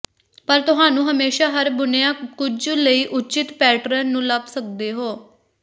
ਪਰ ਤੁਹਾਨੂੰ ਹਮੇਸ਼ਾ ਹਰ ਬੁਣਿਆ ਕੁਝ ਲਈ ਉੱਚਿਤ ਪੈਟਰਨ ਨੂੰ ਲੱਭ ਸਕਦੇ ਹੋ